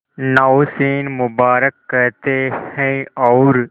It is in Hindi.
नौशीन मुबारक कहते हैं और